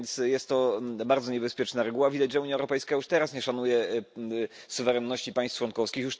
Więc jest to bardzo niebezpieczna reguła. Widać, że Unia Europejska już teraz nie szanuje suwerenności państw członkowskich.